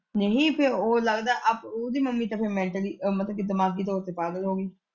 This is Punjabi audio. ਨਹੀਂ ਫੇਰ ਉਹ ਲੱਗਦਾ ਆਪ ਉਹਦੀ ਮੰਮੀ ਤੇ ਫੇਰ ਮੈਂਟਲੀ ਮਤਲਬ ਕਿ ਦਿਮਾਗੀ ਤੌਰ ਤੇ ਪਾਗਲ ਹੋ ਗਈ।